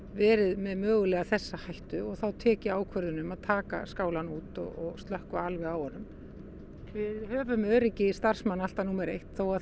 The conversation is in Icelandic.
verið með þessa hættu og þá tek ég ákvörðun um að taka skálann út og slökkva á honum við höfum öryggi starfsmanna alltaf númer eitt þó að